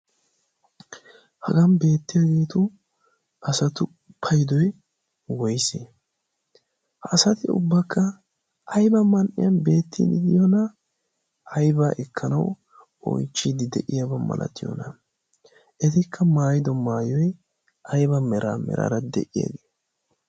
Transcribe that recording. Hagan beettiyaageetu asatu paydoy woyse? Ha asati ubbakka ayba man'iyan beettii de'iyoona? Aybaa ekkanawu oychchidi de'iyaabaa malatiyoona? Etikka maayido maayoy ayba mera meraara de'iyaabee?